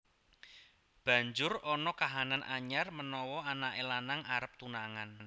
Banjur ana kahanan anyar menawa anaké lanang arep tunangan